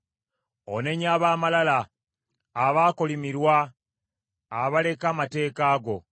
Onenya ab’amalala, abaakolimirwa, abaleka amateeka go.